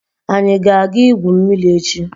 Anyi ga aga igwu mmiri echi?